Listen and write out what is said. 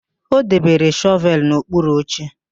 O debere shọvelụ n'okpuru oche.